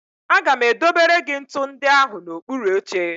Aga m edobere gị ntụ ndị ahụ n'okpuru oche